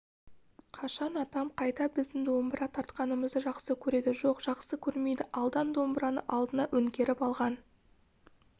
қашан атам қайта біздің домбыра тартқанымызды жақсы көреді жоқ жақсы көрмейді алдан домбыраны алдына өңгеріп алған